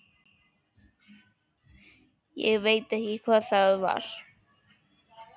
Ég veit ekki hvað það var.